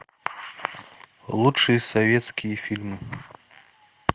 лучшие советские фильмы